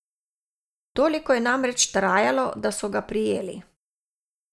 Toliko je namreč trajalo, da so ga prijeli.